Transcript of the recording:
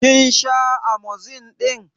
Kin sha Amozilin ɗin?